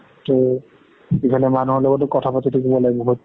ইফালে মানুহৰ লগতো কথা পাতি থাকিব লাগে বহুত।